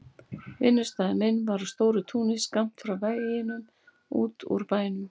Vinnustaður minn var á stóru túni skammt frá veginum út úr bænum.